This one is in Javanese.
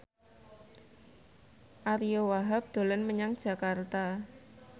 Ariyo Wahab dolan menyang Jakarta